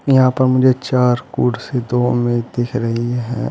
यहां पर मुझे चार कुर्सी दो मेज दिख रही है।